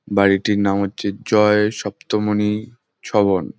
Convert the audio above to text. বাড়িটির নাম হচ্ছে জয় সপ্তমানি ছবন।